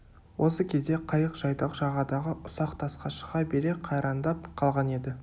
осы кезде қайық жайдақ жағадағы ұсақ тасқа шыға бере қайраңдап қалған еді